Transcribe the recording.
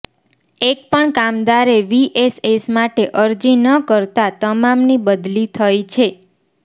એક પણ કામદારે વીએસએસ માટે અરજી ન કરતાં તમામની બદલી થઇ છે